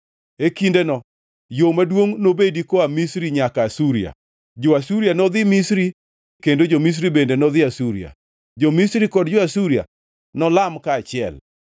E kindeno yo maduongʼ nobedi koa Misri nyaka Asuria. Jo-Asuria nodhi Misri kendo jo-Misri bende nodhi Asuria. Jo-Misri kod jo-Asuria nolam kaachiel.